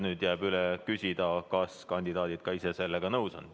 Nüüd jääb üle küsida, kas kandidaadid ise sellega nõus on.